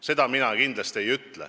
Seda ma kindlasti ei ütle.